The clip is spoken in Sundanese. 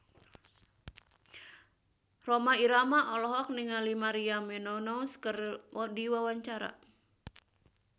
Rhoma Irama olohok ningali Maria Menounos keur diwawancara